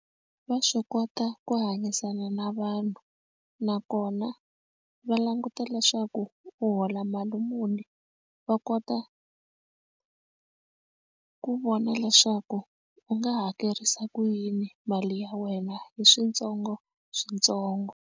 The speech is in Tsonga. Va swi kota ku hanyisana na vanhu nakona va languta leswaku u hola mali muni va kota ku vona leswaku u nga hakerisa ku yini mali ya wena hi switsongoswitsongo.